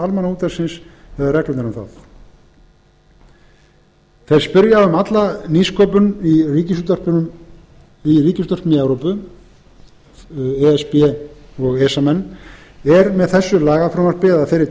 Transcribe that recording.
almannaútvarpsins eða reglurnar um það þeir spyrja um alla nýsköpun í ríkisútvörpum í evrópu e s b og esa menn er með þessu lagafrumvarpi eða þeirri